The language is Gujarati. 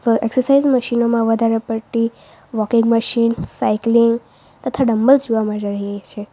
એક્સરસાઇઝ મશીનો માં વધારે પડતી વોકિંગ મશીન સાયકલિંગ તથા ડંબેલ્સ જોવા મળી રહ્યા છે.